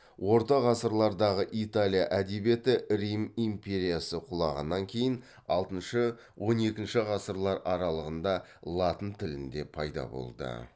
орта ғасырлардағы италия әдебиеті рим империясы құлағаннан кейін алтыншы он екінші ғасырлар аралығында латын тілінде пайда болды